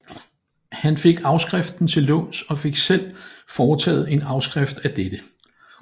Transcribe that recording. Han fik afskriften til låns og fik selv foretaget en afskrift af dette